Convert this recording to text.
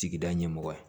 Sigida ɲɛmɔgɔ ye